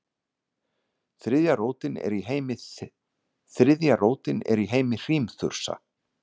þriðja rótin er í heimi hrímþursa